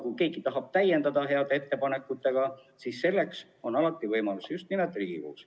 Kui keegi tahab neid heade ettepanekutega täiendada, siis selleks on alati võimalus just nimelt Riigikogus.